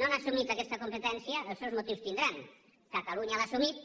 no han assumit aquesta competència els seus motius tindran catalunya l’ha assumida